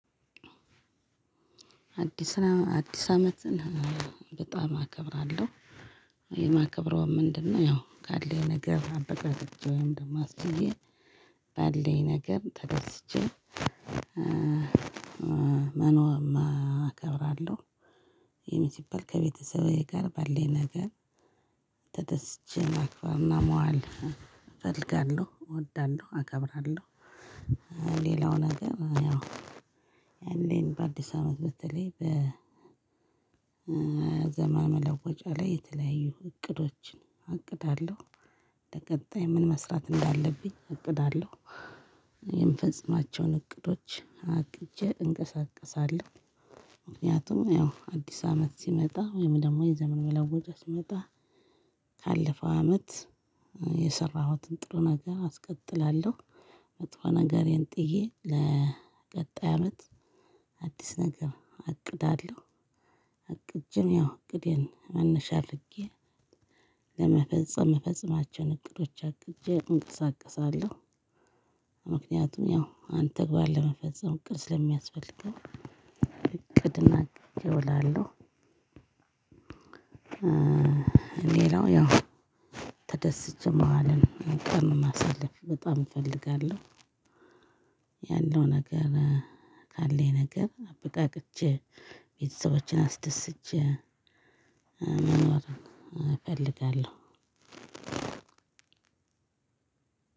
አዲስ አመት በጣም አከብራለሁ። የማከብረው ምንድነው ያው ካለኝ ነገር አበቃቅቼ ወይም ደግሞ አስችዬ ባለኝ ነገር ተደስቼ አከብራለሁ። ይሄን ሲባል ከቤተሰቤ ጋር ባለኝ ነገር ተደስቼ ማክበርና መዋል እፈልጋለሁ እወዳለሁ አከብራለሁ። ሌላውን ነገር ያው ያኔን በአዲስ አመት በተለይ በዘመን መለወጫ ላይ የተለያዩ እቅዶችን እቅዳለሁ። ለቀጣይ ምን መስራት እንዳለብኝ አቅዳለሁ። የምፈጽማቸውን እቅዶች አቅጄ እንቀሳቀሳለሁ። ምክንያቱም ያው አዲስ አመት ሲመጣ ወይም ደግሞ የዘመን መለዋወጫ ሲመጣ ካለፈው አመት የሰራሁትን ጥሩ ነገር አስቀጥላለሁ። መጥፎ ነገረን ጥዬ ለቀጣይ አመት አዲስ ነገር አቅዳለሁ። አቅጀም ያው እቅዴን መነሻ አድርጌ ለመፈጸም መፈጸማቸውን እቅዶች አቅጄ እንቀሳቀሳለሁ። ምክንያቱም ያው አንተ በዓል ለመፈጸም እቅድ ስለሚያስፈልገው እቅድን አቅጄ እወላለሁ። ሌላው ያው ተደስቼ መዋልን ቀን ማሳለፍ በጣም እፈልጋለሁ። ያለው ነገር ካለኝ ነገር አብቃቅቼ ቤተሰቦችን አስደስቼ መኖር እፈልጋለሁ።